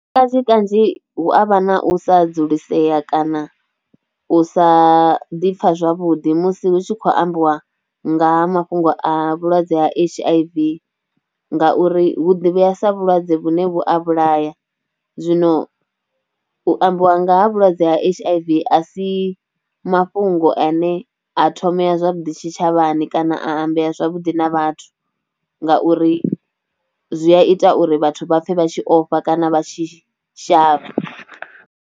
Kanzhi kanzhi hu a vha na u sa dzulisea kana u sa ḓi pfha zwavhuḓi musi hu tshi khou ambiwa nga mafhungo a vhulwadze ha H_I_V ngauri hu ḓivheya sa vhulwadze vhune vhu a vhulaya zwino u ambiwa nga ha vhulwadze ha H_I_V a si mafhungo ane a thomea zwavhuḓi tshitshavhani kana ambea zwavhuḓi na vhathu ngauri zwi a ita uri vhathu vha pfhe vha tshi ofha kana vha tshi shavha.